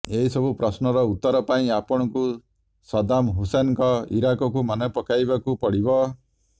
ଏସବୁ ପ୍ରଶ୍ନର ଉତ୍ତର ପାଇଁ ଆପଣଙ୍କୁ ସଦ୍ଦାମ ହୁସୈନଙ୍କ ଇରାକକୁ ମନେ ପକାଇବାକୁ ପଡିବ